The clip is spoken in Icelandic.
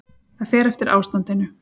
Það fer eftir ástandinu.